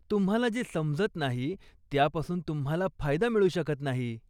तुम्हाला जे समजत नाही, त्यापासून तुम्हाला फायदा मिळू शकत नाही.